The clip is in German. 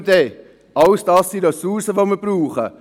Das alles sind Ressourcen, welche wir brauchen.